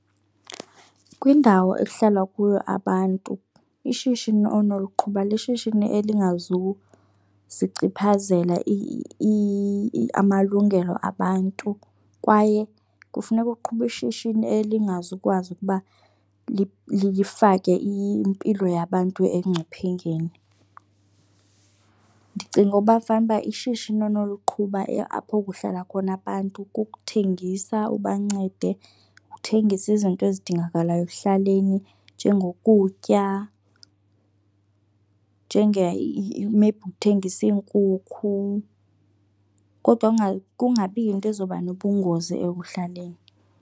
Kwindawo ekuhlala kuyo abantu ishishini onoliqhuba lishishini elingazusichiphazela amalungelo abantu kwaye kufuneka uqhube ishishini elingazukwazi ukuba lifake impilo yabantu engcuphengeni. Ndicinga uba fanuba ishishini onoliqhuba apho kuhlala khona abantu kukuthengisa ubancede uthengise izinto ezidingakalayo ekuhlaleni njengokutya, njenge maybe uthengise iinkukhu, kodwa kungabi yinto ezoba nobungozi ekuhlaleni.